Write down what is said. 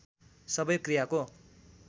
सबै क्रियाको